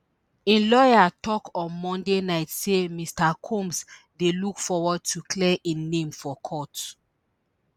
im lawyer tok on monday night say mr combs dey look forward to clear im name for court